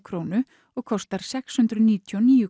krónu og kostar nú sex hundruð níutíu og níu